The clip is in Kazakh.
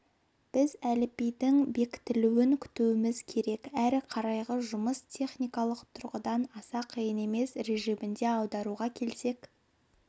біз әліпбидің бекітілуін күтуіміз керек әрі қарайғы жұмыс техникалық тұрғыдан аса қиын емес режимінде аударуға келсек